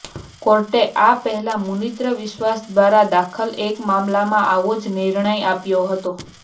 કોર્ટે આ પહેલા મુનીંદ્ર વિશ્વાસ દ્વારા દાખલ એક મામલામાં આવો જ નિર્ણય આપ્યો હતો